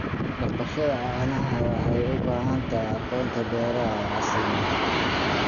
Dhaqashada caanaha waxay u baahan tahay aqoonta beeraha ee casriga ah.